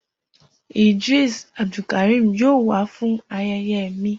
Idris Abdulkarim yoo wa fun ayeye mi.